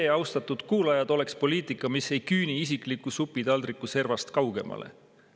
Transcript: See, austatud kuulajad, oleks poliitika, mis ei küüni isikliku supitaldriku servast kaugemale.